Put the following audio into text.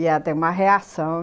E ela tem uma reação.